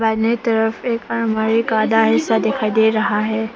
दाहिने तरफ एक आलमारी का आधा हिस्सा दिखाई दे रहा है।